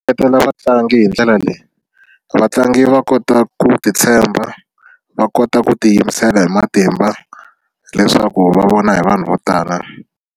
Hlohletela vatlangi hi ndlela leyi vatlangi va kota ku titshemba va kota ku tiyimisela hi matimba leswaku va vona hi vanhu vo tala.